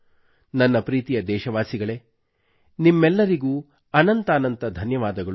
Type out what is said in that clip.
ನನ್ನ ಪ್ರೀತಿಯ ದೇಶವಾಸಿಗಳೇ ನಿಮ್ಮೆಲ್ಲರಿಗೂ ಅನಂತಾನಂತ ಧನ್ಯವಾದಗಳು